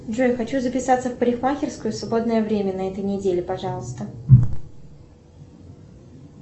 джой хочу записаться в парикмахерскую в свободное время на этой неделе пожалуйста